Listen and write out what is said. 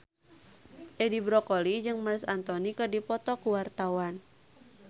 Edi Brokoli jeung Marc Anthony keur dipoto ku wartawan